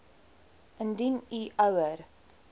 indien u ouer